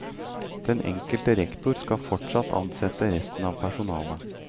Den enkelte rektor skal fortsatt ansette resten av personalet.